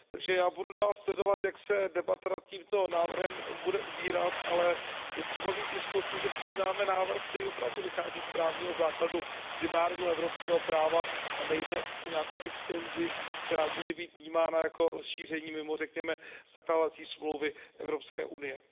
Takže já budu dál sledovat, jak se debata nad tímto návrhem bude ubírat, ale je třeba mít jistotu, že přijímáme návrh, který opravdu vychází z právního základu primárního evropského práva, a nejde o nějakou extenzi, která může být vnímána jako rozšíření mimo zakládací smlouvy Evropské unie.